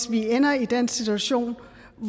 vi ender i den situation